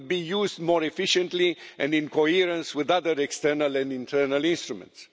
It would be used more efficiently and in coherence with other external and internal instruments.